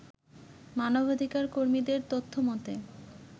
মানবাধিকার কর্মীদের তথ্যমতে